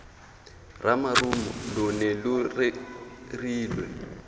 ramarumo lo ne lo rerilwe